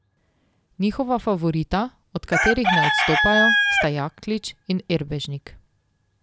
Njihova favorita, od katerih ne odstopajo, sta Jaklič in Erbežnik.